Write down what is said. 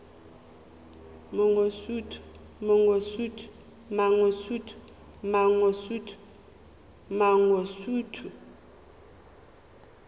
mangosuthu